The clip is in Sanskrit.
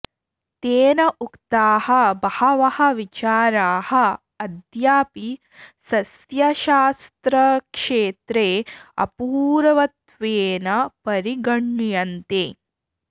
तेन उक्ताः बहवः विचाराः अद्यापि सस्यशास्त्रक्षेत्रे अपूर्वत्वेन परिगण्यन्ते